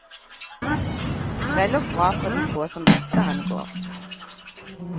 Vel og bra for de få som dette angår.